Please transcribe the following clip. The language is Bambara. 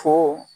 Fo